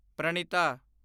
Pranita